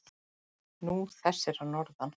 Nú, þessir að norðan.